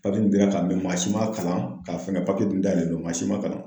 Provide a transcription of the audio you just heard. Papiye in dira ka mɛn maa si ma kalan ka fɛn ka dun dayɛlɛ don mansi ma kalan.